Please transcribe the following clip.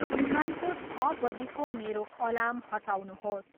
बिहानको छ बजीको मेरो अलार्म हटाउनुहोस्।